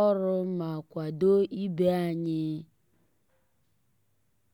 ọ́rụ́ má kwàdó ìbé ànyị́.